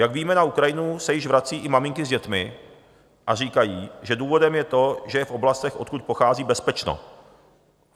Jak víme, na Ukrajinu se již vrací i maminky s dětmi a říkají, že důvodem je to, že je v oblastech, odkud pochází, bezpečno.